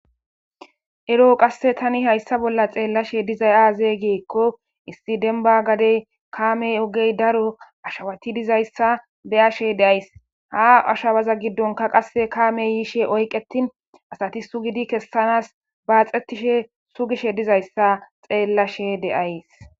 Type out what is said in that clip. Ero'o qasse tani hayssa bolla xeellashe dizay aazegeekko issi denba gadey kaamey ogey daro ashawati dizayssa beyashe deays ha ashabaza giddonka qasse kaame yiishe oyqetin asati sugidi kessanas baaxetishe sugishe dizayssa xeellashe deays.